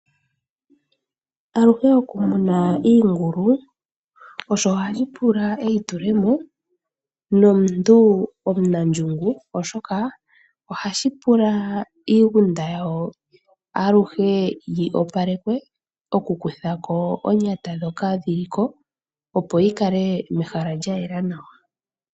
Aluhe okumuna iingulu, osho hashi pula eitule mo nomuntu omunandjungu, oshoka ohashi pula iigunda yawo aluhe yi opalekwe, okukuthako oonyata ndhoka dhi li ko, opo yi kale mehala lya yela nawa.